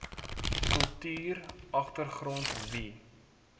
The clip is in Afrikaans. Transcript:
kultuur agtergrond wie